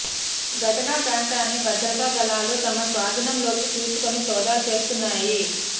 ఘటనా ప్రాంతాన్ని భద్రతా దళాలు తమ స్వాధీనంలోకి తీసుకుని సోదాలు చేస్తున్నాయి